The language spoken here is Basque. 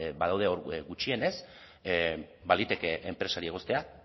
badaude hor gutxienez baliteke enpresari egoztea